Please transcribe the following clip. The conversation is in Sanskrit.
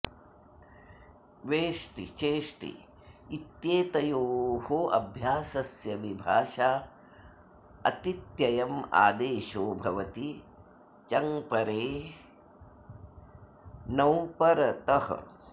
वेष्टि चेष्टि इत्येतयोः अभ्यासस्य विभाषा अतित्ययम् आदेशो भवति चङ्परे णौ परतः